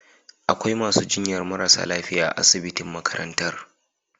Akwai masu jinyar marasa lafiya a asibitin makarantan.